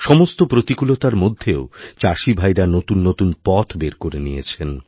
সমস্ত প্রতিকূলতার মধ্যেও চাষিভাইরা নতুন নতুন পথ বেরকরে নিয়েছেন